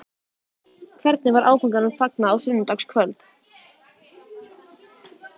Hvernig var áfanganum fagnað á sunnudagskvöld?